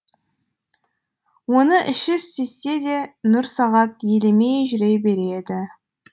оны іші сезсе де нұрсағат елемей жүре береді